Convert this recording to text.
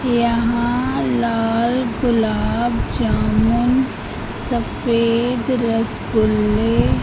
यहाँ लाल गुलाब जामुन सफेद रसगुल्ले--